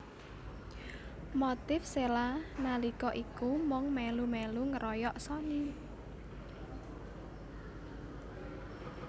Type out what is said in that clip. Motif Cella nalika iku mung melu melu ngeroyok Sony